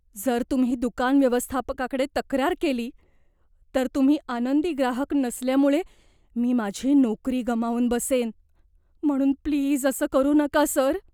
जर तुम्ही दुकान व्यवस्थापकाकडे तक्रार केली, तर तुम्ही आनंदी ग्राहक नसल्यामुळे मी माझी नोकरी गमावून बसेन, म्हणून प्लीज असं करू नका, सर.